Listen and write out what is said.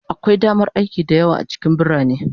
Akwai damar aiki da yawa a cikin birane